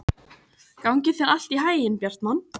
Gangi þér allt í haginn, Bjartmann.